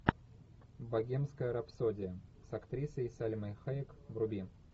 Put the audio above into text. богемская рапсодия с актрисой сальмой хайек вруби